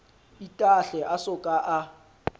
itahle a so ka a